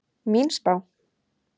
Mín spá?